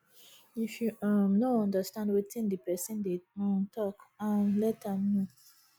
if yu um no understand wetin di pesin dey um tok um let am no